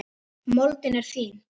Moldin er þín.